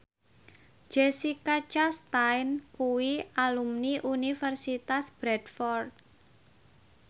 Jessica Chastain kuwi alumni Universitas Bradford